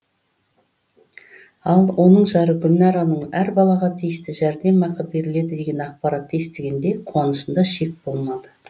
ал оның жары гүлнараның әр балаға тиісті жәрдемақы беріледі деген ақпаратты естігенде қуанышында шек болмады